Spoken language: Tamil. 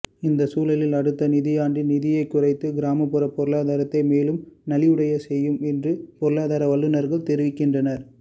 இந்த சூழலில் அடுத்த நிதியாண்டில் நிதியைக் குறைத்தது கிராமப்புற பொருளாதாரத்தை மேலும் நலிவுடையச் செய்யும் என்று பொருளாதார வல்லுநர்கள் தெரிவிக்கின்றனர்